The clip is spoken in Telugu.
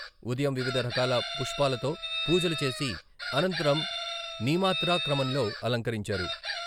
ఉదయం వివిధ రకాల పుష్పాలతో పూజలు చేసి అనంతరం నీమాత్రా క్రమంలో అలంకరించారు.